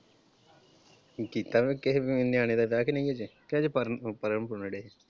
ਕੀਤਾ ਕੁਝ ਕਿਸੇ ਨਿਆਣੇ ਦਾ ਵਿਆਹ ਕ ਨਹੀਂ ਹਜੇ, ਕ ਹਜੇ ਪੜ੍ਹਨ ਪੁੜ੍ਹਨ ਡਏ?